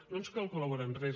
no ens cal col·laborar en res